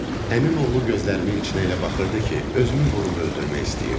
Əmim oğlu gözlərimin içinə elə baxırdı ki, özümü vurub öldürmək istəyirdim.